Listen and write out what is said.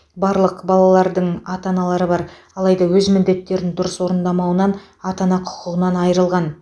барлық балалардың ата аналары бар алайда өз міндеттерін дұрыс орындамауынан ата ана құқығынан айрылған